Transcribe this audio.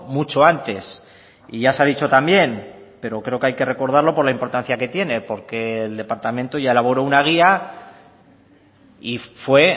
mucho antes y ya se ha dicho también pero creo que hay que recordarlo por la importancia que tiene porque el departamento ya elaboró una guía y fue